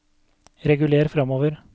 reguler framover